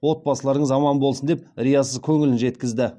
отбасыларыңыз аман болсын деп риясыз көңілін жеткізді